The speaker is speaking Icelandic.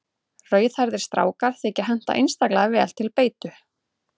Rauðhærðir strákar þykja henta einstaklega vel til beitu.